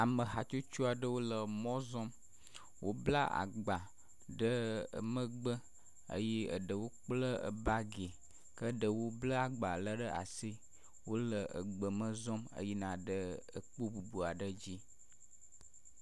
ame hatsotso aɖewo le mɔzɔm wóbla gba ɖe megbe eye eɖewo kple bagi ke ɖewo bleagba le ɖe asi wóle egbeme zɔm eyinaɖe ekpó bubuaɖe dzi